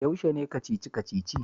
Yaushe ne Kacici-kaci?